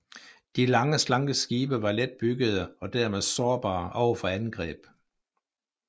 De lange slanke skibe var let byggede og dermed sårbare over for angreb